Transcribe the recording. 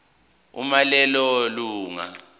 uma lelo lunga